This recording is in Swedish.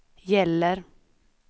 gäller